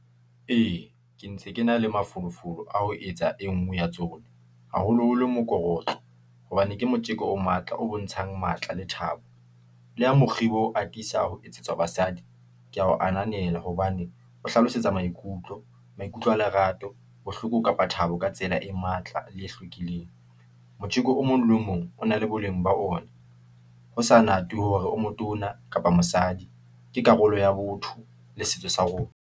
Ee , ke ntse ke na le mafolofolo a ho etsa e nngwe ya tsona , haholoholo mokorotlo , hobane ke motjeko o matla, o bontshang matla le thabo , le ho mokgibo atisa ho etsetswa basadi . Ke ya o ananela hobane , o hlalosetsa maikutlo , maikutlo a lerato , bohloko, kapa Thabo ka tsela e matla le e hlwekileng . Motjeko o mong le mong o na le boleng ba ona , hosa natwe hore o motona kapa mosadi . Ke karolo ya botho le setso sa rona.